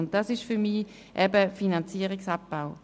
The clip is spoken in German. , und das ist für mich eben Finanzierungsabbau.